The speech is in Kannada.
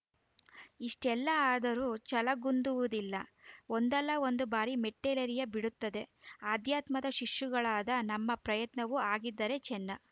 ಇಷ್ಟೆಲ್ಲ ಆದರೂ ಛಲಗುಂದುವುದಿಲ್ಲ ಒಂದಲ್ಲ ಒಂದು ಬಾರಿ ಮೆಟ್ಟಿಲೇರಿಯೇ ಬಿಡುತ್ತದೆ ಆಧ್ಯಾತ್ಮದ ಶಿಶುಗಳಾದ ನಮ್ಮ ಪ್ರಯತ್ನವೂ ಹಾಗಿದ್ದರೆ ಚೆನ್ನ